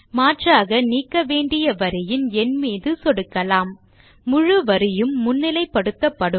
மாற்றாக நீக்க வேண்டிய வரியின் எண் மீது சொடுக்கலாம் முழு வரியும் முன்னிலைப்படுத்தப்படும்